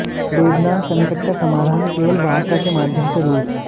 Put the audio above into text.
Lebanon संकट का समाधान केवल वार्ता के माध्यम सेः रूस